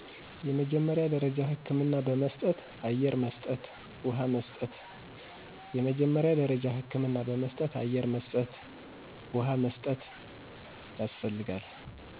የመጀመሪያ ደረጃ ህክምና በመስጠት , አየር መስጠት ውሃ መስጠት